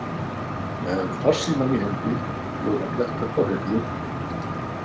Með farsímann í hendi, búin að fletta upp á Hreyfli.